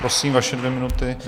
Prosím, vaše dvě minuty.